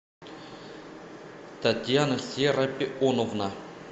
татьяна серапионовна